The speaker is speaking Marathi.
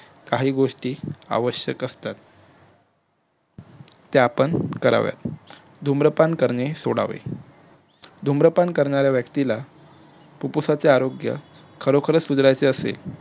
काही गोष्टी आवश्यक असतात त्या आपण कराव्यात धुम्रपान करणे सोडावे धुम्रपान करणाऱ्या व्यक्तीला फुप्फुसांचे आरोग्य खरोखर सुधारायचे असेल